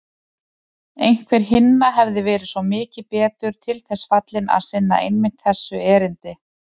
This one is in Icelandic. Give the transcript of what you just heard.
Einhver hinna hefði verið svo mikið betur til þess fallinn að sinna einmitt þessu erindi.